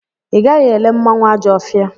Ị gaghị ele mmanwụ Ajọfia!